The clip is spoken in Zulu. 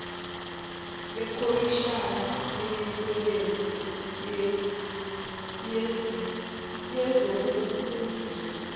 lekhomishani yemisebenzi yezobulungiswa